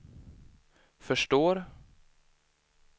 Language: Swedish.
förstår